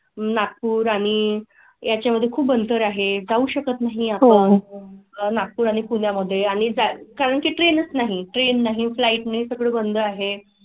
नागपुर आणि याच्या मध्ये खूप अंतर आहे जाऊ शकत नाही. नागपूर आणि पुण्या मध्ये आणि कारण की ट्रेन नाहीं ट्रेन नाहीं. फ्लाइट ने सगळे बंद आहे.